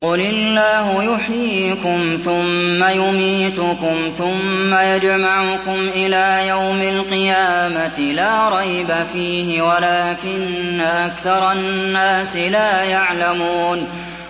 قُلِ اللَّهُ يُحْيِيكُمْ ثُمَّ يُمِيتُكُمْ ثُمَّ يَجْمَعُكُمْ إِلَىٰ يَوْمِ الْقِيَامَةِ لَا رَيْبَ فِيهِ وَلَٰكِنَّ أَكْثَرَ النَّاسِ لَا يَعْلَمُونَ